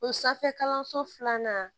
O sanfɛ kalanso filanan